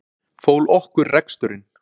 Fól okkur reksturinn.